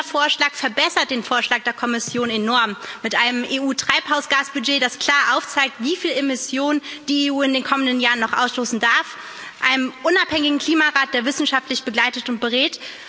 Unser Vorschlag verbessert den Vorschlag der Kommission enorm mit einem EU Treibhausgasbudget, das klar aufzeigt, wieviel Emission die EU in den kommenden Jahren noch ausstoßen darf, einem unabhängigen Klimarat, der wissenschaftlich begleitet und berät.